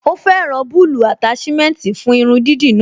Ó fẹ́ràn bulbul attachment fún irun dídì náà